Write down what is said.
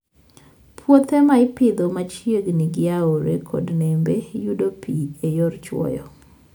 Puothe ma ipidho machiegni gi aore kod nembe yudo pi e yor chwoyo.